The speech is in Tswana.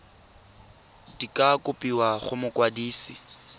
di ka kopiwa go mokwadise